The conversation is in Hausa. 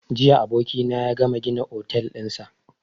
Jiya abokina ya gama gina otel ɗinsa